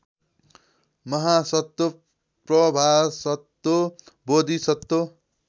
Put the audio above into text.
महासत्व प्रभासत्व बोधिसत्व